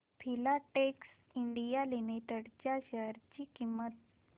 Filatex India Limited च्या share ची किंमत